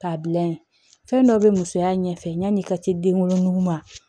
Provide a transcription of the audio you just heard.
K'a bila yen fɛn dɔ bɛ musoya ɲɛfɛ yanni i ka se den wolonugu ma